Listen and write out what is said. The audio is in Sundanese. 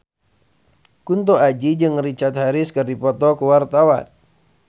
Kunto Aji jeung Richard Harris keur dipoto ku wartawan